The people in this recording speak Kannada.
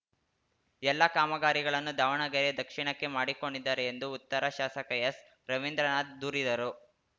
ಎಲ್ಲಾ ಕಾಮಗಾರಿಗಳನ್ನೂ ದಾವಣಗೆರೆ ದಕ್ಷಿಣಕ್ಕೆ ಮಾಡಿಕೊಂಡಿದ್ದಾರೆ ಎಂದು ಉತ್ತರ ಶಾಸಕ ಎಸ್‌ರವೀಂದ್ರನಾಥ್‌ ದೂರಿದರು